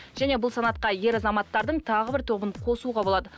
және бұл санатқа ер азаматтардың тағы бір тобын қосуға болады